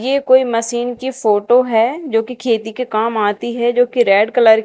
ये कोई मशीन की फोटो है जो की खेती के काम आती है जो की रेड कलर --